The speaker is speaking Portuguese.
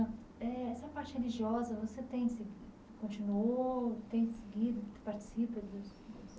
Eh essa parte religiosa, você pensa, continuou, tem seguido, participa dos.